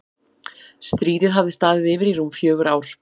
Stríðið hafði staðið yfir í rúm fjögur ár.